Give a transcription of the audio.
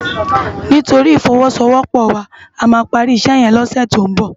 Nitóri ifòwòsówòpò wá àmá pàri isè yèn lòsè tó n bò